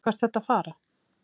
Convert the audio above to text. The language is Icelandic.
Hvert ertu að fara?